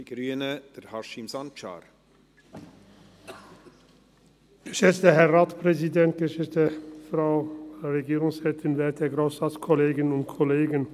Die Ziffer 3 empfehlen wir klar zur Annahme und gleichzeitigen Abschreibung.